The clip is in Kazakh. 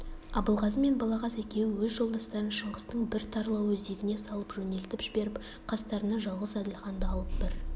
абылғазы мен балағаз екеуі өз жолдастарын шыңғыстың бір тарлау өзегіне салып жөнелтіп жіберіп қастарына жалғыз әділханды алып бір